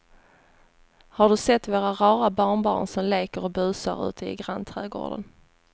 Har du sett våra rara barnbarn som leker och busar ute i grannträdgården!